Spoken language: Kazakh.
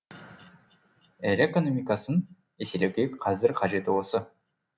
ел экономикасын еселеуге қазір қажеті осы